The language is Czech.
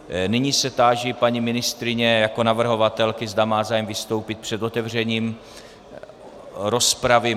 Nyní se táži paní ministryně jako navrhovatelky, zda má zájem vystoupit před otevřením rozpravy.